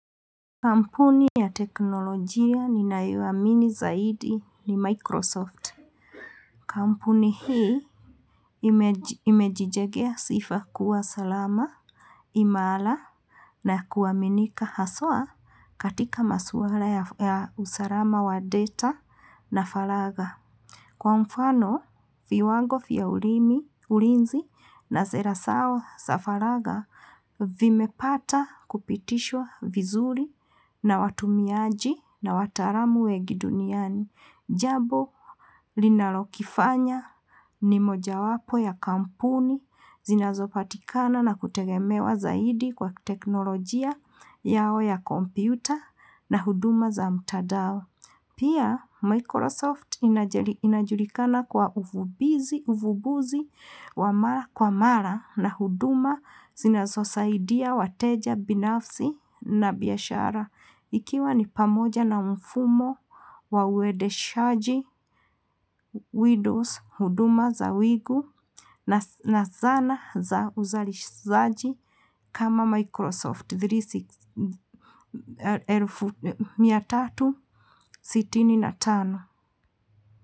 Kampuni ya teknolojia ninayoamini zaidi ni Microsoft. Kampuni hii imejijengea sifa kuwa salama, imara na kuaminika haswa katika maswala ya usalama wa data na falaga. Kwa mfano, viwango vya ulinzi na zera zao za faragha vimepata kupitishwa vizuri na watumiaji na watalamu wengi duniani. Jambo linalokifanya ni mojawapo ya kampuni zinazopatikana na kutegemewa zaidi kwa teknolojia yao ya kompyuta na huduma za mtandao. Pia Microsoft inajulikana kwa uvumbuzi wa mara kwa mara na huduma zinazosaidia wateja binafsi na biashara. Ikiwa ni pamoja na mfumo wa uendeshaji, Windows, huduma za wingu na zana za uzalishaji kama Microsoft mia tatu na sitini na tano.